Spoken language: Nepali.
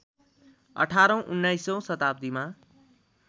१८औँ १९औँ शताब्दीमा